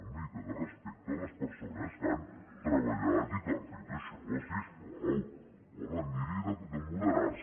una mica de respecte a les persones que han treballat i que han fet això si us plau home miri de moderar se